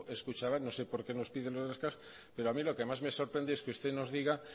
es kutxabank no sé por qué nos pide pero a mí lo que más me sorprende es que usted nos diga